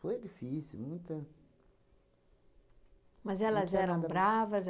Foi difícil, muita... Mas elas eram bravas?